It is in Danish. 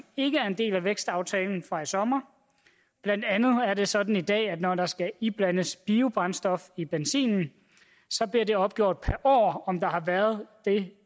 ikke er en del af vækstaftalen fra i sommer blandt andet er det sådan i dag at når der skal iblandes biobrændstof i benzinen bliver det opgjort per år om der har været det